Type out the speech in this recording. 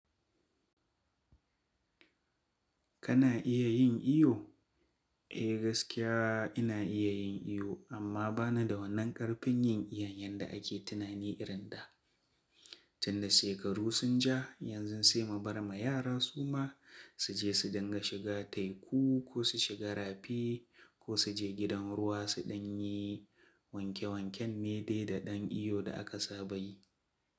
Kana iya yin iyo? Eh gaskiya ina iya yin iyo amma bana da wannan ƙarfin yin iyon yanda ake tunani irin da. Tun da shekaru sun ja yanzu sai mubar ma yara suma su je su dinga shiga teku ko su shiga rafi ko su je gidan ruwa suɗan yi wanke wanken nede da ɗan iyo da aka saba yi.